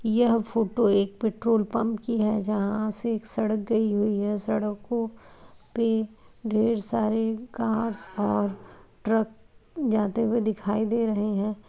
यह फोटो एक petrol pump की है जहां से एक सड़क गई हुई है सड़कों पे ढेर सारी कार और ट्रक जाते हुए दिखाई दे रहे हैं।